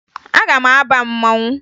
Aga m aba mmanwụ